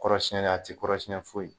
Kɔrɔsiɲɛli a tɛ kɔrɔsicɲɛ foyi!